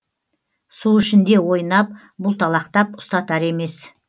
су ішінде ойнап бұлталақтап ұстатар емес